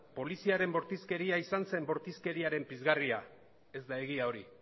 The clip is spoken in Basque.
poliziaren bortizkeria izan zen bortizkeriaren pizgarria ez da egia hori